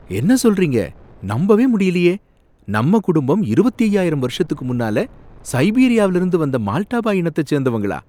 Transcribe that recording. என்ன சொல்றீங்க! நம்பவே முடியலையே! நம்ம குடும்பம் இருவத்தி ஐயாயிரம் வருஷத்துக்கு முன்னால சைபீரியாவுல இருந்து வந்த மால்டா பாய் இனத்த சேர்ந்தவங்களா?